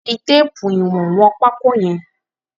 Fi téèpù ìwọ̀n wọn pákó yẹn.